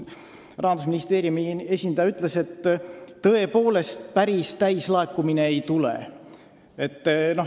Rahandusministeeriumi esindaja ütles, et tõepoolest, päris täis see summa ei tule.